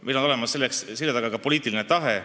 Meie selja taga on laiem poliitiline tahe.